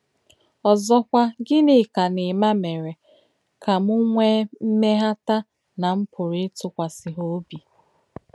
Ọ̀zọ́kwà, Ginika nà Emma mèrè kà m nwèè m̀mèghàtà nà m pùrù ìtùkwàsí hà òbí.